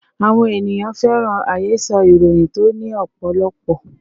Àwọn ènìyàn fẹ́ràn àhesọ ìròyìn tó ní ọ̀pọ̀lọpọ̀